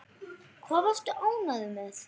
Hvað varstu ánægður með?